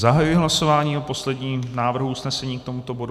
Zahajuji hlasování o posledním návrhu usnesení k tomuto bodu.